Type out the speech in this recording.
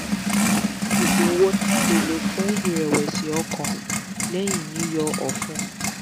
oògun wo ni a le lò fún irẹ̀wẹ̀sì-ọkàn lẹ́yìñ yíyọ ọ̀fun?